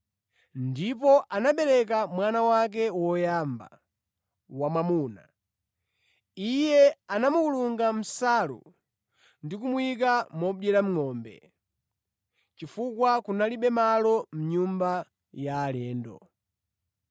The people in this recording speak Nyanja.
ndipo anabereka mwana wake woyamba, wamwamuna. Iye anamukulunga mʼnsalu ndi kumuyika modyera ngʼombe, chifukwa kunalibe malo mʼnyumba ya alendo.